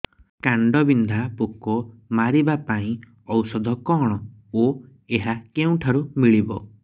କାଣ୍ଡବିନ୍ଧା ପୋକ ମାରିବା ପାଇଁ ଔଷଧ କଣ ଓ ଏହା କେଉଁଠାରୁ ମିଳିବ